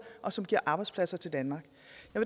og som giver arbejdspladser til danmark